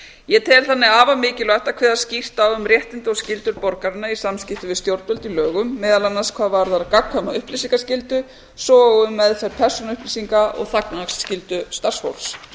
ég tel þannig afar mikilvægt að kveða skýrt á um réttindi og skyldur borgaranna í samskiptum við stjórnvöld í lögum meðal annars hvað varðar gagnkvæma upplýsingaskyldu svo og um meðferð persónuupplýsinga og þagnarskyldu starfsfólks